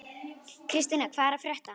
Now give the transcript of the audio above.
Kristína, hvað er að frétta?